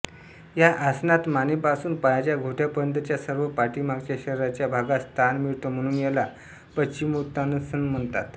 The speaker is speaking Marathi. या आसनात मानेपासून पायांच्या घोट्यापर्यंतच्या सर्व पाठीमागच्या शरीराच्या भागास ताण मिळतो म्हणून याला पश्चिमोत्तानासन म्हणतात